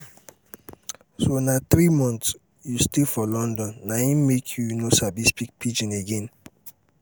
so na the three months you stay for london na im make you no sabi speak pidgin again?